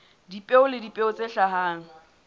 dipeo le dipeo tse hlahang